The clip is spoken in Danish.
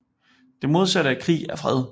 Det modsatte af krig er fred